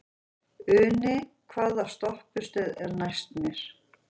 Uni, hvaða stoppistöð er næst mér?